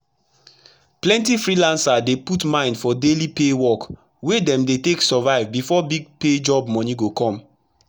plenti freelancer dey put mind for daily pay work wey dem dey take survive before big job moni go come